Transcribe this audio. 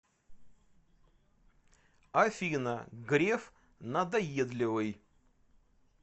афина греф надоедливый